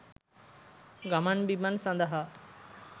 ගමන් බිමන් සඳහා